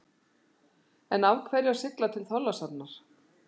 En af hverju að sigla til Þorlákshafnar?